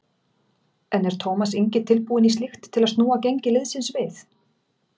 En er Tómas Ingi tilbúinn í slíkt til að snúa gengi liðsins við?